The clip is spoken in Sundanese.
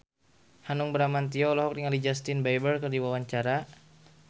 Hanung Bramantyo olohok ningali Justin Beiber keur diwawancara